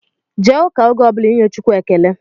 Jee ụka oge ọbụla inye Chukwu ekele!